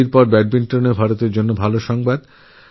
হকির মতব্যাডমিন্টনেও ভারতের জন্য সুখবর আছে